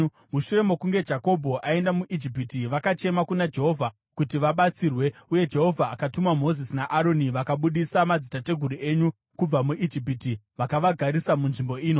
“Mushure mokunge Jakobho aenda muIjipiti, vakachema kuna Jehovha kuti vabatsirwe, uye Jehovha akatuma Mozisi naAroni, vakabudisa madzitateguru enyu kubva muIjipiti vakavagarisa munzvimbo ino.